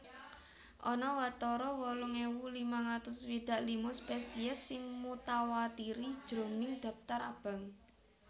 Ana watara wolung ewu limang atus swidak lima spesies sing mutawatiri jroning Dhaptar abang